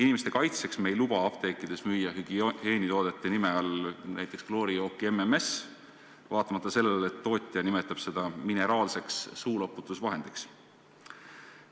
Inimeste kaitseks me ei luba apteekides müüa hügieenitoodete nime all näiteks kloorijooki MMS, vaatamata sellele, et tootja nimetab seda mineraalseks suuloputusvahendiks.